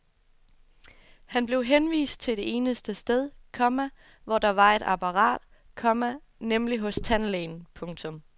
Han blev henvist til det eneste sted, komma hvor der var et apparat, komma nemlig hos tandlægen. punktum